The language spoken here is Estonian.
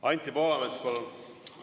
Anti Poolamets, palun!